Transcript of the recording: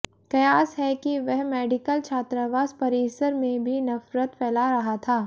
कयास है कि वह मेडिकल छात्रावास परिसर में भी नफरत फैला रहा था